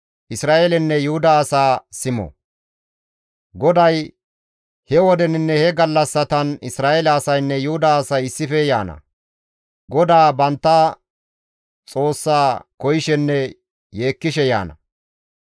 GODAY, «He wodeninne he gallassatan Isra7eele asaynne Yuhuda asay issife yaana; GODAA bantta Xoossa koyishenne yeekkishe yaana.